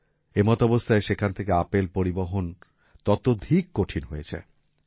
এমতাবস্থায় সেখান থেকে আপেল পরিবহন ততধিক কঠিন হয়ে যায়